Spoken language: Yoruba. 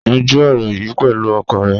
Yanjú ọ̀rọ̀ yìí pẹ̀lú ọkọ rẹ.